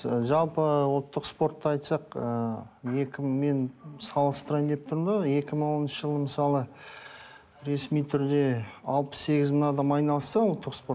жалпы ы ұлттық спортты айтсақ ыыы екі мен салыстырайын деп тұрмын да екі мың оныншы жылы мысалы ресми түрде алпыс сегіз мың адам айналысса ұлттық спорт